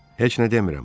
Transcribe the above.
Heç nə demirəm.